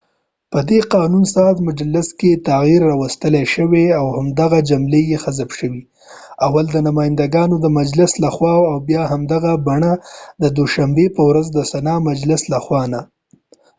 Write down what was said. په دي قانون ساز مجلس کې تغیر راوستلی شو او دوهمه جمله یې حذف شوه اول د نماینده ګانو د مجلس له خوا او بیا په همدي بڼه د دوشنبی په ورځ د سنا مجلس له خوا نه